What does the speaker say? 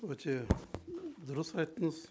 өте дұрыс айттыңыз